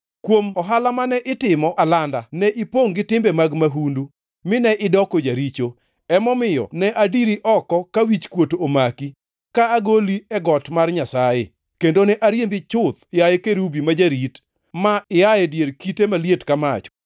Kuom ohala mane itimo alanda ne ipongʼ gi timbe mag mahundu, mine idoko jaricho. Emomiyo ne adiri oko ka wichkuot omaki, ka agoli e got mar Nyasaye, kendo ne ariembi chuth, yaye kerubi ma jarit, mi ia e dier kite maliet ka mach.